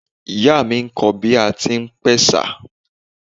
Ìyá mi n kọ́ ọ bí a tí ń pe ẹ̀sà